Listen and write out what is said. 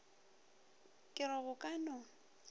ke re go ka no